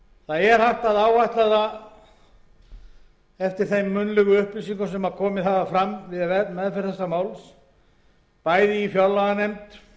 hægt er að áætla eftir þeim munnlegu upplýsingum sem komið hafa fram við meðferð málsins í fjárlaganefnd